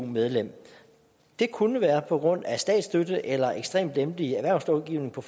medlem det kunne være på grund af statsstøtte eller ekstremt lempelig erhvervslovgivning for